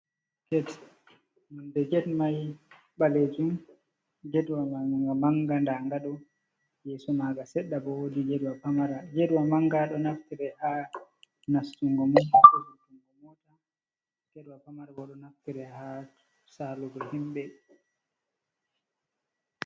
Get. Nonɗe get mai balejum. getwa man ga manga. Nɗaga ɗo. yeso maga seɗɗa bo wooɗi getwa pamara. Getwa manga ɗo naftire ha nastungo mota be vorrutungo mota. get wa pamara bo, ɗo naftira ha salugo himbe.